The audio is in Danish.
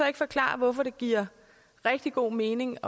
ikke forklare hvorfor det giver rigtig god mening